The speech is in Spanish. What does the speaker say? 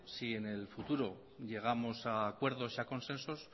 si en el futuro llegamos a acuerdos y a consensos